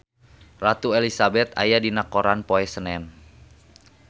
Ratu Elizabeth aya dina koran poe Senen